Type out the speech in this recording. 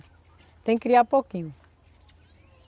Tem que criar pouquinho.